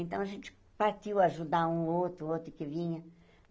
Então, a gente partiu ajudar um outro, outro que vinha.